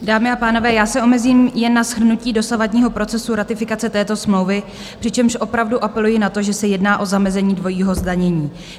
Dámy a pánové, já se omezím jen na shrnutí dosavadního procesu ratifikace této smlouvy, přičemž opravdu apeluji na to, že se jedná o zamezení dvojímu zdanění.